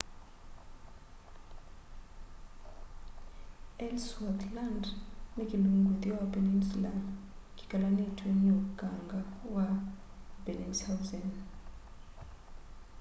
ellsworth land ni kilungu itheo wa peninsula kikelanitw'e ni ukanga wa bellingshausen